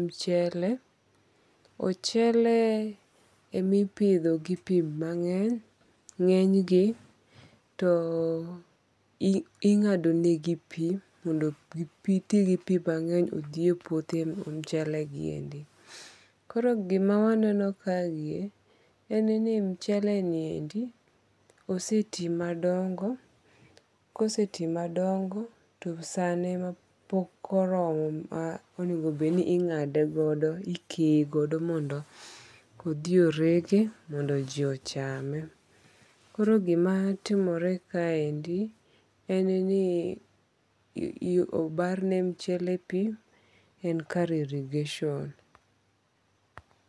michele, ochele ema ipitho gi pi mange'ny, nge'nygi to inga'donegi pi mondo gi ti gi pi mange'ny othiye puothe mag mchelegi endi, koro gimawaneno kaniendi en ni mcheleni endi oseti madongo' koseti madongo' to sane ne pok oromo ma onego bedni inga'degodo, ikeye godo mondo othi erege mondo ji ochame. Koro gimatimore kaendi en ni pi obarne mchele pi en kar irrigation